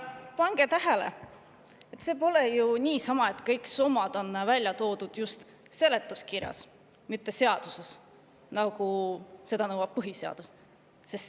Pange tähele, see pole ju niisama, et kõik summad on välja toodud just seletuskirjas, mitte seaduses, nagu nõuab põhiseadus.